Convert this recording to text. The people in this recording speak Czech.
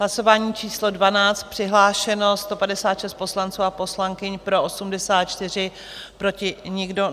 Hlasování číslo 12, přihlášeno 156 poslanců a poslankyň, pro 84, proti nikdo.